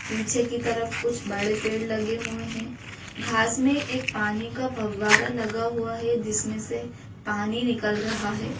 पीछे की तरफ कुछ बड़े पेड़ लगे हुए हैं घास में एक पानी का फव्वारा लगा हुआ है जिसमें से पानी निकल रहा है।